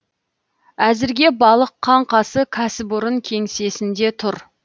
әзірге балық қаңқасы кәсіпорын кеңсесінде тұр